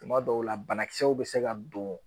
Tuma dɔw la banakisɛw bɛ se ka don